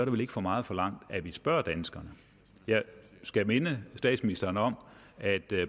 vel ikke for meget forlangt at vi spørger danskerne jeg skal minde statsministeren om at